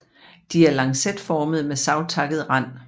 De er lancetformede med savtakket rand